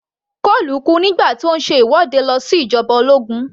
Cole kú nígbà tí ó ń ṣe ìwọ́de lòdì sí ìjoba ológun